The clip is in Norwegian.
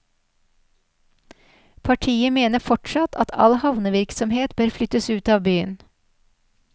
Partiet mener fortsatt at all havnevirksomhet bør flyttes ut av byen.